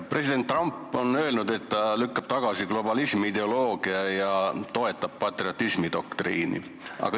President Trump on öelnud, et ta lükkab tagasi globalismiideoloogia ja toetab patriotismidoktriini.